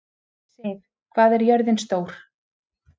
Siv, hvað er jörðin stór?